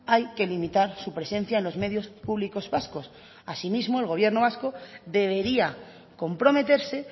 hay que limitar su presencia en los medios públicos vascos asimismo el gobierno vasco debería comprometerse